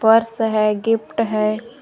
Purse है gift है।